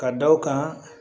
Ka da o kan